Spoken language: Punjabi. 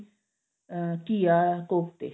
ਅਹ ਘੀਆ ਕੋਫਤੇ